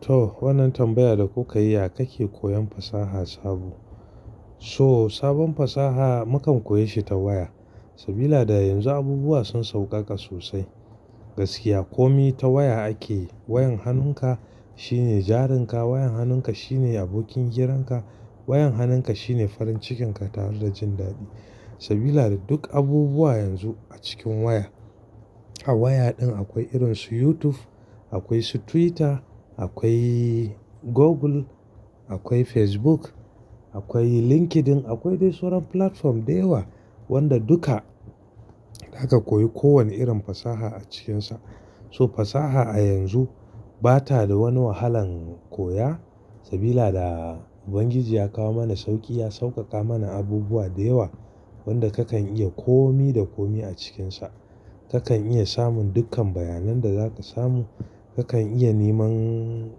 To, wannan tambayar da kuka yi, a yakake koyan fasaha sabo? So sabon fasaha mukan koya shi ta waya. Sabida yanzu abubuwa sun sauƙaƙa sosai. Gaskiya komi ta waya ake yi, wayan hannunka shine jarin ka, wayan hannunka shine abokin hiranka, wayan hannunka shine farin cikin ka tare da jin daɗi. Sabida duk abubuwa yanzu a cikin waya. A waya din akwai irin su YouTube, akwai su Twitter, akwai Google, akwai Facebook, akwai LinkedIn, akwai dai soran platform da yawa wanda duka zaka koyi kowane irin fasaha a cikinsa. So fasaha a yanzu bata da wani wahalan koya sabida Ubangiji ya kawo mana sauƙi, ya sauƙaƙa mana abubuwa da yawa wanda kakan iya komi da komi a cikinsa. Kakan iya samun dukkan bayanan da zaka samu, kakan iya neman,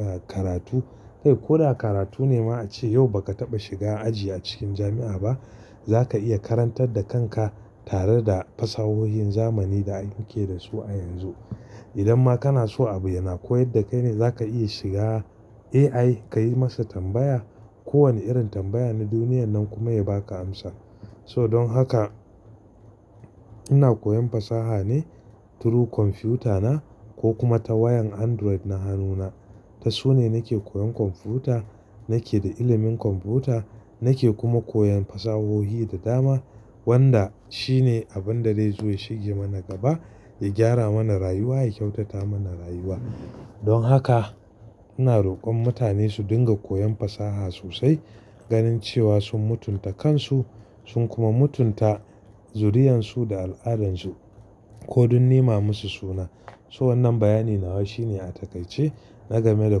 ah, karatu. Kai ko da karatu ne ma a ce yau ba ka taɓa shiga aji a cikin jami'a ba, zaka iya karantar da kanka tare da fasahohin zamani da anke da su a yanzu. Idan ma kana so abu yana koyar da kai ne, zaka iya shiga AI ka yi masa tambaya, kowane irin tambaya na duniyan nan kuma ya baka amsa. So don haka ina koyan fasaha ne through kwamfutana ko kuma ta wayan Android na hannuna. Ta su ne nake koyan kwamfuta, nake da ilimin kwamfuta, nake kuma koyan fasahohi da dama wanda shi ne abin da zai zo ya shige mana gaba, ya gyara mana rayuwa, ya kyautata mana rayuwa. Don haka ina rokon mutane su dinga koyan fasaha sosai ganin cewa sun mutunta kansu, sun kuma mutunta zuriyansu da al'adansu ko dun nema musu suna. So wannan bayani nawa shi ne a taƙaice na game da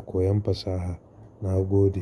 koyon fasaha. Na gode.